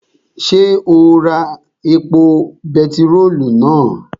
Ṣé o ra epo bentiróòlù náà?